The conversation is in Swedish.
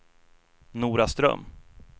Noraström